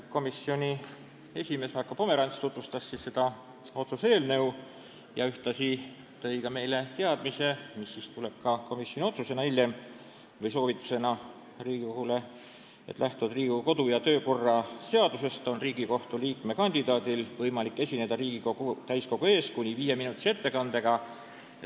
Komisjoni esimees Marko Pomerants tutvustas seda otsuse eelnõu ja andis meile ühtlasi teada, et kui komisjon positiivse otsuse teeb, siis lähtuvalt Riigikogu kodu- ja töökorra seadusest on Riigikohtu liikme kandidaadil võimalik esineda Riigikogu täiskogu ees kuni viieminutilise ettekandega.